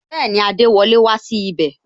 Bẹẹni, adewole wá sí ibè